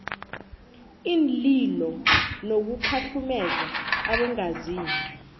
iinlilo nokukhahlumeza abongazimbi